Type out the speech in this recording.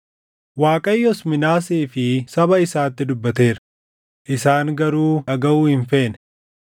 Waaqayyos Minaasee fi saba isaatti dubbateera; isaan garuu dhagaʼuu hin feene.